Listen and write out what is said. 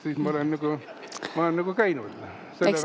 Ma olen nagu käinud selle pärast.